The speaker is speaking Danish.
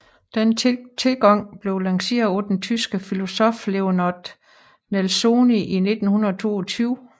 Denne tilgang blev lanceret af den tyske filosof Leonard Nelsoni 1922